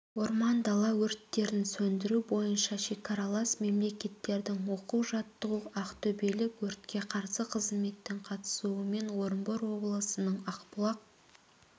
орман дала өрттерін сөндіру бойынша шекаралас мемлекеттердің оқу-жаттығуы ақтөбелік өртке қарсы қызметтің қатысуымен орынбор облысының ақбұлақ